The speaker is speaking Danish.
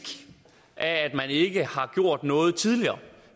af at man ikke har gjort noget tidligere